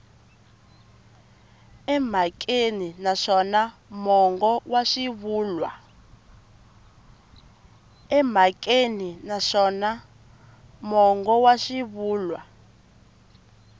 emhakeni naswona mongo wa swivulwa